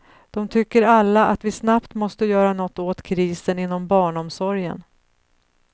De tycker alla att vi snabbt måste göra något åt krisen inom barnomsorgen.